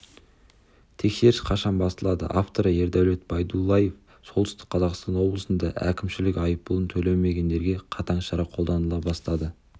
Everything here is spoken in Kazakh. тексеріс қашан басталады авторы ердәулет байдуллаев солтүстік қазақстан облысында әкімшілік айыппұлын төлемегендерге қатаң шара қолданыла бастады